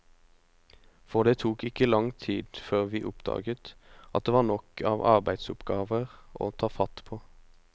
For det tok ikke lang tid før vi oppdaget at det var nok av arbeidsoppgaver å ta fatt på.